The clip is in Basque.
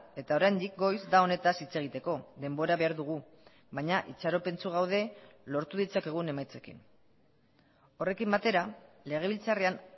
eta oraindik goiz da honetaz hitz egiteko denbora behar dugu baina itxaropentsu gaude lortu ditzakegun emaitzekin horrekin batera legebiltzarrean